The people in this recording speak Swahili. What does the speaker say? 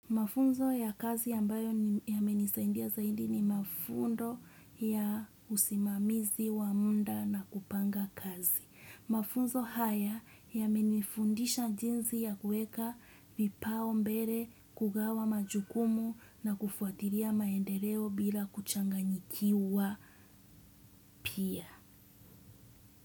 Mafunzo ya kazi ambayo ni yame nisaindia zaidi ni mafundo ya usimamizi wa muda na kupanga kazi. Mafunzo haya yame nifundisha jinsi ya kuweka vipaumbele kugawa majukumu na kufuatilia maendeleo bila kuchanganyikiwa pia.